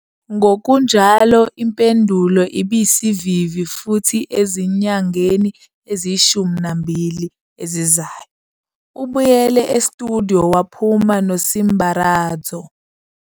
Ngokunjalo, impendulo ibisivivi futhi ezinyangeni eziyi-12 ezizayo, ubuyele estudiyo waphuma noSimbaradzo.